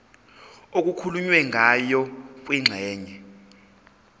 okukhulunywe ngayo kwingxenye